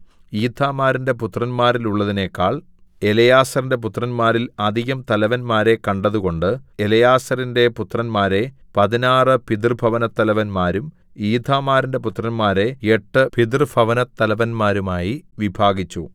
ഈഥാമാരിന്റെ പുത്രന്മാരിലുള്ളതിനെക്കാൾ എലെയാസാരിന്റെ പുത്രന്മാരിൽ അധികം തലവന്മാരെ കണ്ടതുകൊണ്ട് എലെയാസാരിന്റെ പുത്രന്മാരെ പതിനാറു പിതൃഭവനത്തലവന്മാരും ഈഥാമാരിന്റെ പുത്രന്മാരെ എട്ട് പിതൃഭവനത്തലവന്മാരുമായി വിഭാഗിച്ചു